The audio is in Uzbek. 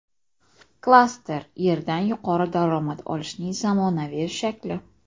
Klaster – yerdan yuqori daromad olishning zamonaviy shakli.